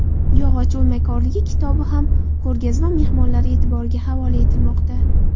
Yog‘och o‘ymakorligi” kitobi ham ko‘rgazma mehmonlari e’tiboriga havola etilmoqda.